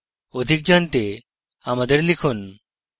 অধিক জানতে আমাদের লিখুন